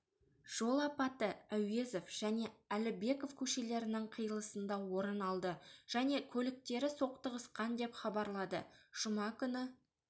жол апаты әуезов және әлібеков көшелерінің қиылысында орын алды және көліктері соқтығысқан деп хабарлады жұма күні